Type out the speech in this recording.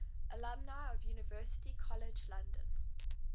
alumni of university college london